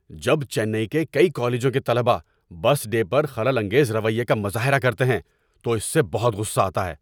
‏جب چنئی کے کئی کالجوں کے طلبہ بس ڈے پر خلل انگیز رویے کا مظاہرہ کرتے ہیں تو اس سے بہت غصہ آتا ہے۔